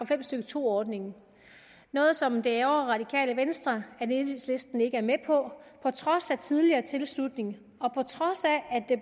fem stykke to ordningen noget som det ærgrer radikale venstre at enhedslisten ikke er med på trods af tidligere tilslutning